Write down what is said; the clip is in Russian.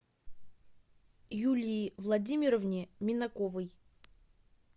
юлии владимировне минаковой